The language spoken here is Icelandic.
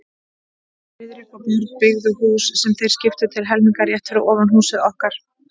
Friðrik og Björn, byggðu hús, sem þeir skiptu til helminga, rétt fyrir ofan húsið okkar.